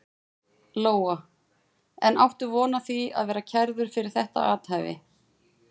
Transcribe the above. Lóa: En áttu von á því að verða kærður fyrir þetta athæfi?